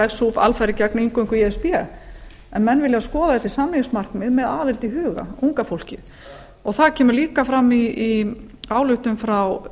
leggst suf alfarið gegn inngöngu í e s b en menn vilja skoða þessi samningsmarkmið með aðild í huga unga fólkið það kemur líka fram í ályktun frá